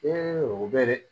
o bɛ dɛ